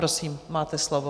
Prosím, máte slovo.